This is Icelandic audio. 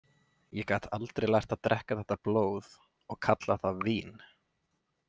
Ég gat aldrei lært að drekka þetta blóð og kalla það vín.